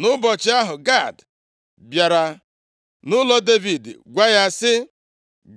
Nʼụbọchị ahụ, Gad bịara nʼụlọ Devid gwa ya sị,